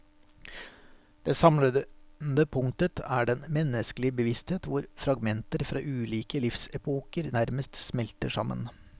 Det samlende punktet er den menneskelige bevissthet hvor fragmenter fra ulike livsepoker nærmest smelter sammen.